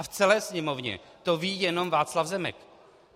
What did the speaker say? A v celé Sněmovně to ví jenom Václav Zemek.